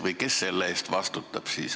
Või kes selle eest siis vastutab?